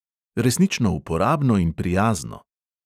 Resnično uporabno in prijazno!